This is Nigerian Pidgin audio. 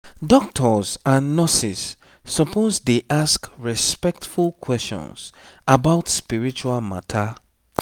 doctors and nurses suppose dey ask respectful questions about spiritual matter